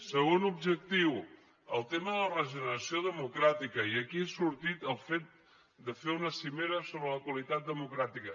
segon objectiu el tema de la regeneració democràtica i aquí ha sortit el fet de fer una cimera sobre la qualitat democràtica